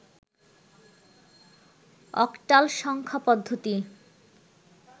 octal সংখ্যা পদ্ধতি